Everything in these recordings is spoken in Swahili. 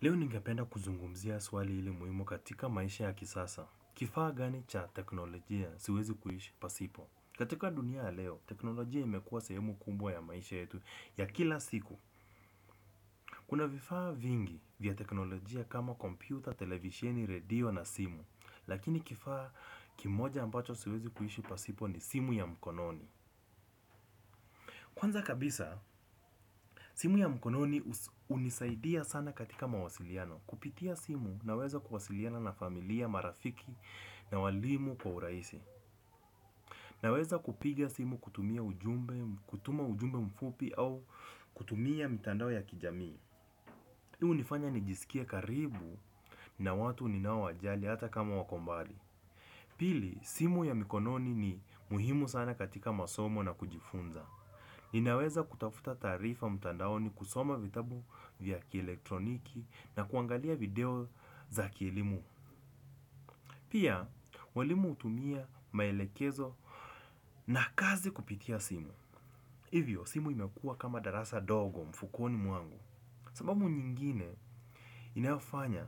Leo ningependa kuzungumzia swali hili muhimu katika maisha ya kisasa. Kifaa gani cha teknolojia siwezi kuishi pasipo? Katika dunia ya leo, teknolojia imekuwa sehemu kubwa ya maisha yetu ya kila siku. Kuna vifaa vingi vya teknolojia kama kompyuta, televisheni, radio na simu. Lakini kifaa kimoja ambacho siwezi kuishi pasipo ni simu ya mkononi. Kwanza kabisa, simu ya mkononi unisaidia sana katika mawasiliano. Kupitia simu naweza kuwasiliana na familia, marafiki na walimu kwa urahisi. Naweza kupiga simu kutumia ujumbe, kutuma ujumbe mfupi au kutumia mitandao ya kijamii. Ii hunifanya nijisikie karibu na watu ninao wajali hata kama wako mbali. Pili, simu ya mikononi ni muhimu sana katika masomo na kujifunza. Ninaweza kutafuta taarifa mtandaoni kusoma vitabu vya kieletroniki na kuangalia video za kielimu. Pia, walimu hutumia maelekezo na kazi kupitia simu. Hivyo, simu imekua kama darasa dogo mfukoni mwangu. Sababu nyingine inayofanya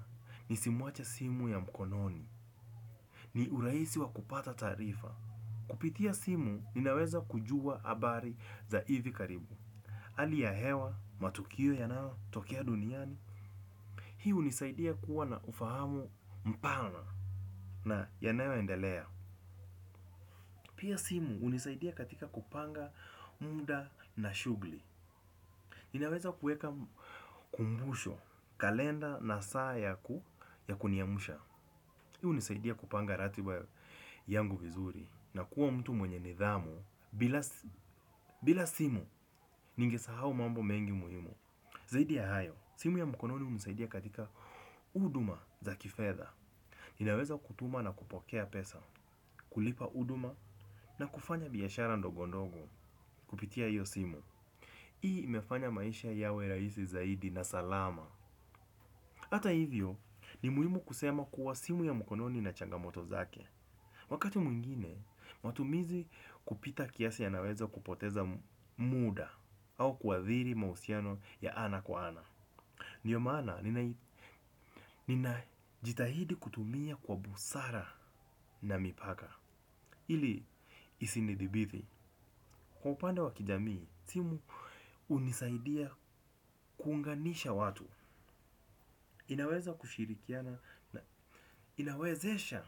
nisimwache simu ya mkononi ni urahisi wa kupata taarifa. Kupitia simu, ninaweza kujua habari za hivi karibu hali ya hewa, matukio yanayotokea duniani. Hii hunisaidia kuwa na ufahamu mpana na yanayo endelea pia simu hunisaidia katika kupanga muda na shugli. Ninaweza kuweka kumbusho, kalenda na saa ya ku ya kuniamsha. Hii hunisaidia kupanga ratiba yangu vizuri na kuwa mtu mwenye nidhamu bila bila simu ningesahau mambo mengi muhimu. Zaidi ya hayo, simu ya mkononi hunisaidia katika huduma za kifedha. Ninaweza kutuma na kupokea pesa kulipa huduma na kufanya biashara ndogo ndogo kupitia hiyo simu hii imefanya maisha yawe rahisi zaidi na salama. Hata hivyo ni muhimu kusema kuwa simu ya mkononi ina changamoto zake. Wakati mwingine, matumizi kupita kiasi yanaweza kupoteza muda. Au kuathiri mahusiano ya ana kwa ana. Ndio maana, nina jitahidi kutumia kwa busara na mipaka ili isinidhibiti kwa upande wa kijamii, simu hunisaidia kuunganisha watu. Inawezesha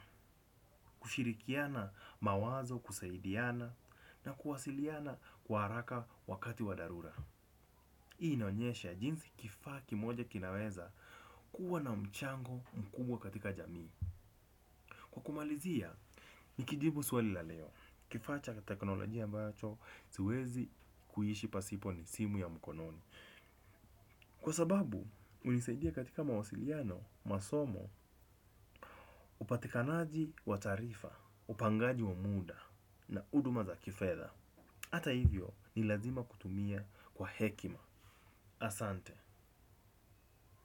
kushirikiana mawazo kusaidiana na kuwasiliana kwa haraka wakati wa dharura hii inaonyesha jinsi kifaa kimoja kinaweza kuwa na mchango mkubwa katika jamii kumalizia, nikijibu swali la leo kifaa cha teknolojia ambacho, siwezi kuishi pasipo ni simu ya mkononi. Kwa sababu, hunisaidia katika mawasiliano, masomo, upatikanaji wa taarifa, upangaji wa muda na huduma za kifedha. Hata hivyo, ni lazima kutumia kwa hekima. Asante.